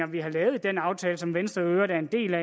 vi har lavet i den aftale som venstre i øvrigt er en del af